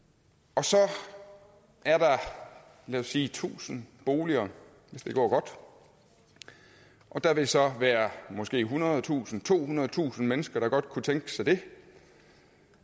og så er der lad os sige tusind boliger hvis det går godt og der vil så være måske ethundredetusind tohundredetusind mennesker der godt kunne tænke sig dem